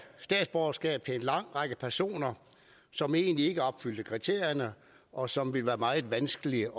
statsborgerskab til en lang række personer som egentlig ikke opfyldte kriterierne og som ville blive meget vanskelige